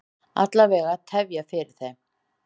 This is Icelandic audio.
Alla vega tefja fyrir þeim.